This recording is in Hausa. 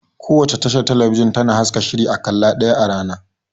Kowace tashar talabijin tana haska shiri a ƙalla ɗaya a rana